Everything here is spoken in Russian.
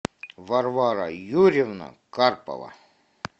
варвара юрьевна карпова